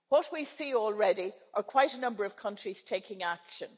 What we see already is quite a number of countries taking action.